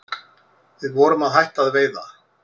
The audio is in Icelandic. Við vorum að hætta að veiða